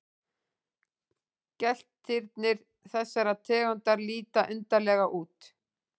Geltirnir þessarar tegundar líta undarlega út.